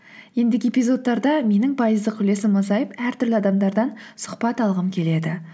ендігі эпизодтарда менің пайыздық үлесім азайып әртүрлі адамдардан сұхбат алғым келеді